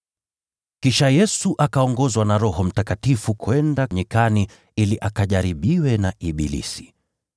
Kisha Yesu akaongozwa na Roho Mtakatifu kwenda nyikani ili akajaribiwe na ibilisi.